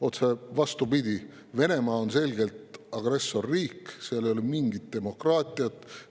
Otse vastupidi, Venemaa on selgelt agressorriik, seal ei ole mingit demokraatiat.